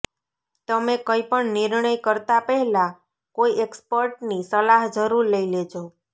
તમે કંઈ પણ નિર્ણય કરતાં પહેલાં કોઈ એક્સપર્ટની સલાહ જરૂર લઈ લેજો